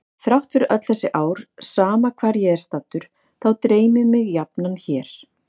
Þrátt fyrir öll þessi ár sama hvar ég er staddur þá dreymir mig jafnan hér.